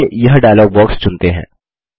चलिए यह dialog box चुनते हैं